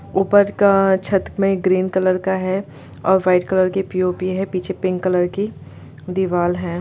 ऊपर का छत में ग्रीन कलर का है और वाइट कलर की पी.ओ.पी. है पीछे पिंक कलर की दीवाल है।